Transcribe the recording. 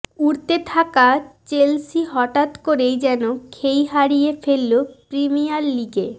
উড়তে থাকা চেলসি হঠাৎ করেই যেন খেই হারিয়ে ফেলল প্রিমিয়ার লিগে